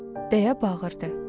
deyə bağırdı.